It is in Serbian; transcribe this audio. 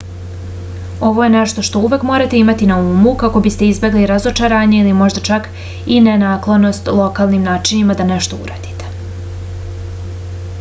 ovo je nešto što uvek morate imati na umu kako biste izbegli razočarenje ili možda čak i nenaklonost lokalnim načinima da nešto uradite